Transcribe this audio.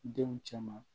Denw cɛ ma